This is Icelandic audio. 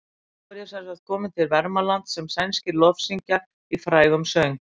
Og nú er ég semsagt kominn til Vermalands sem sænskir lofsyngja í frægum söng.